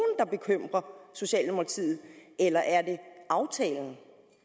der bekymrer socialdemokratiet eller er det aftalen